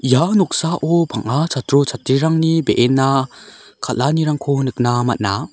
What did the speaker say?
ia noksao bang·a chatro chatrirangni be·enna kal·anirangko nikna man·a.